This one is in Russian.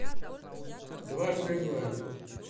дважды два